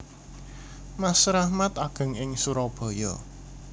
Mas Rahmat ageng ing Surabaya